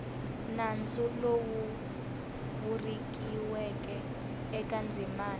nandzu lowu vuriweke eka ndzimana